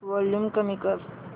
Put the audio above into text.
volume कमी कर